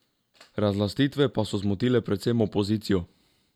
Razlastitve pa so zmotile predvsem opozicijo.